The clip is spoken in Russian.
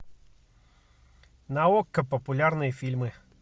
на окко популярные фильмы